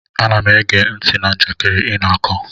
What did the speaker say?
Ana m ege ntị na njakịrị ị na-akọ